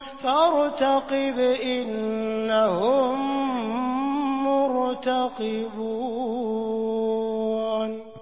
فَارْتَقِبْ إِنَّهُم مُّرْتَقِبُونَ